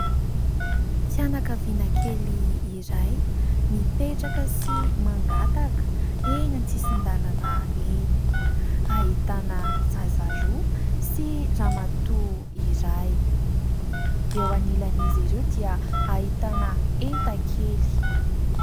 Fianakaviana kely iray mipetraka sy mangataka eny an- tsisin-dàlana eny. Ahitana zaza roa sy ramatoa iray ; eo anilan'izy ireo dia ahitana entan-kely.